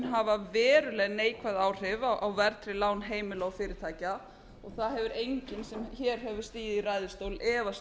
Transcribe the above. hafa veruleg neikvæð áhrif á verðtryggð lán heimila og fyrirtækja og það hefur enginn sem hér hefur stigið í ræðustól efast